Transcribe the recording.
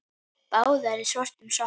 Báðar í svörtum sokkum.